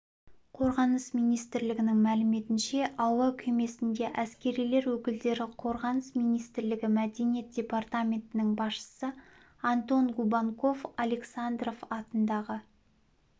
қорғаныс министрлігінің мәліметінше әуе кемесінде әскерилер өкілдері қорғаныс министрлігі мәдениет департаментінің басшысы антон губанков александров атындағы